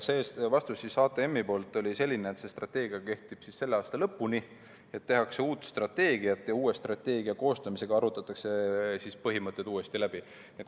Vastus oli HTM-il selline, et see strateegia kehtib selle aasta lõpuni, tehakse uut strateegiat ja uue strateegia koostamisel arutatakse põhimõtted uuesti läbi.